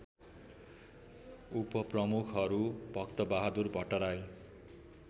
उपप्रमुखहरू Bhaktabahadur Bhattarai